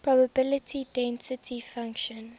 probability density function